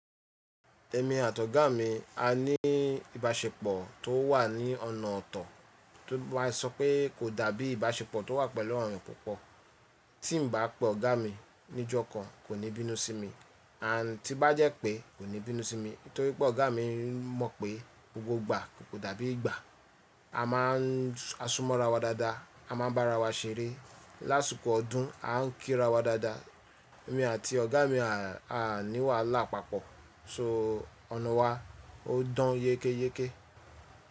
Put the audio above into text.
Èmi àti ọ̀gá mi a ní ìbáṣepọ̀ tó wà ní ọ̀nà ọ̀tọ̀ tó bá sọ pé kò dàbí ìbáṣepọ̀ tó wà pẹ̀lú ọ̀rìn yo púpọ̀. Tí n bá pe ọ̀gá mi níjọ́ kan kò ní bínú sí mi, à ti bá jẹ́ pé kò ní bínú sí mi torípé ọ̀gá mi mọ̀ pé gbogbo ìgbà kò dàbí ìgbà, a máa a súnmọ́ ra wa dáadáa, a máa bá ara wa ṣeré. Láṣùkọ́ ọdún a ń kí ra wa dáadáa. Èmi àti ọ̀gá mi a ní wàhálà papọ̀ so ọ̀nà wa ó dán yékéyéké.